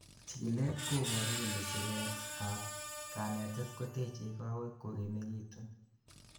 chikilet koboru kole siret ab kanetet kotechei kowek kogimegitun